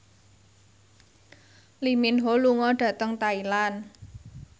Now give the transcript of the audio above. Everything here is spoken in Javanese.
Lee Min Ho lunga dhateng Thailand